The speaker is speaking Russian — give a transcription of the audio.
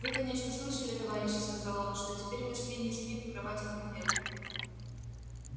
вы конечно слышали товарищи сказал он что теперь мы свиньи спим в кроватях на ферме